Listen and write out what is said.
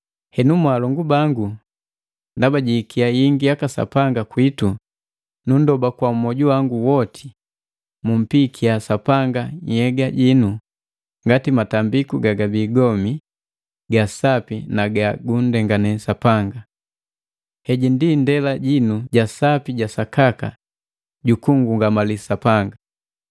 Henu mwaalongu bangu, ndaba jiikia yingi yaka Sapanga kwiitu, nunndoba kwa mwoju wa woti, mumpikya Sapanga nhyega jinu ngati matambiku gaga bii gomi, ga sapi na ga gunndengane Sapanga. Heji ndii ndela jinu ja sapi ja sakaka juku nngungamali Sapanga.